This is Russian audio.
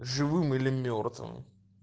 живым или мёртвым